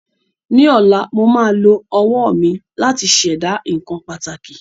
Ní ọ̀la, mo máa lo owó mi láti Ṣẹ̀dá nǹkan pàtàkì